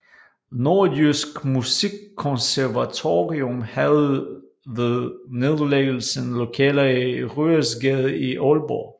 Nordjysk Musikkonservatorium havde ved nedlæggelsen lokaler i Ryesgade i Aalborg